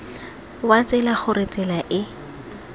wa tsela gore tsela e